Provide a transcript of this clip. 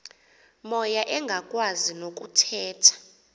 moya engakwazi nokuthetha